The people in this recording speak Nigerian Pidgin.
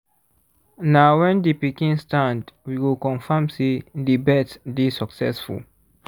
na when the pikin stand we go confirm say the birth dey succesful